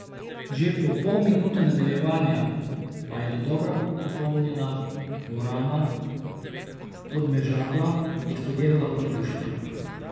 Že po pol minute nadaljevanja pa je dodobra popolnjena dvorana Podmežakla eksplodirala od navdušenja.